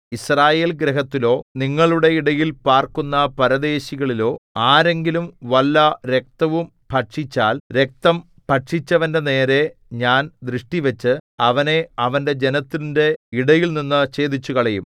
യിസ്രായേൽഗൃഹത്തിലോ നിങ്ങളുടെ ഇടയിൽ പാർക്കുന്ന പരദേശികളിലോ ആരെങ്കിലും വല്ല രക്തവും ഭക്ഷിച്ചാൽ രക്തം ഭക്ഷിച്ചവന്റെ നേരെ ഞാൻ ദൃഷ്ടിവച്ച് അവനെ അവന്റെ ജനത്തിന്റെ ഇടയിൽനിന്ന് ഛേദിച്ചുകളയും